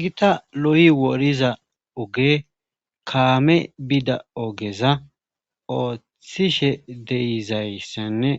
gita loyi woriza oge kaame bida ogeza oothhthishe deyizayssenne